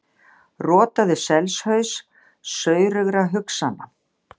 Rotaðu selshaus saurugra hugsana!